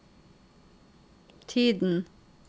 tiden